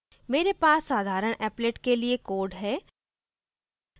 मेरे पास साधारण applet के लिए code है